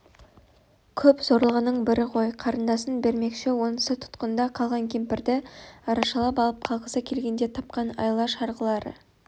көп зорлығының бірі ғой қарындасын бермекші онысы тұтқында қалған кемпірді арашалап алып қалғысы келгенде тапқан айла-шарғылары